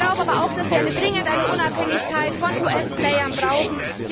Ich glaube aber auch, dass wir dringend eine Unabhängigkeit von US Playern brauchen.